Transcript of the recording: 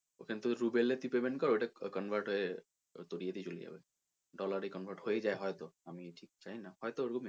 ওখানে তুই ruble এ payment কর ওটা convert হয়ে তোর ইয়ে তে চলে যাবে dollar এ convert হয়ে যায় হয়তো আমি ঠিক জানিনা হয়তো ওইরকমই হয়